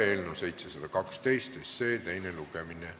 Eelnõu 712 teine lugemine ...